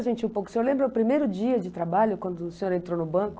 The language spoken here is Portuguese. gente um pouco. O senhor lembra o primeiro dia de trabalho, quando o senhor entrou no banco?